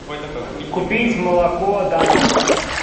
купить молоко данон